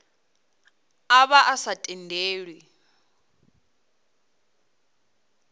a vha a sa tendelwi